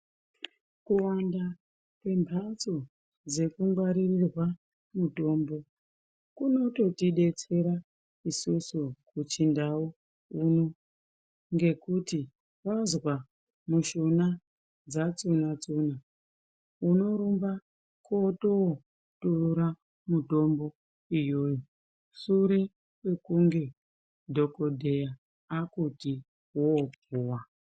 Kuwanda kwembatso dzekungwarirwa mutombo kunototidetsera isusu kuchindau kuno ngekuti wazwa mushuna dzatsuna tsuna unorumba kutootora mutombo iyoyo sure kwekunge dhokodheya akuti wopuwa.